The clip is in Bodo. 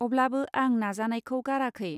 अब्लाबो आं नाजानायखौ गाराखै.